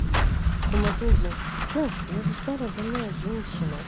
в коматозе ты что я уже старая больная женщина